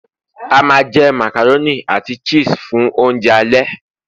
a ma je macaroni ati cheese fun ounjẹ ale